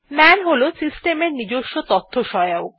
মান হল সিস্টেম এর নিজস্ব তথ্যসহায়ক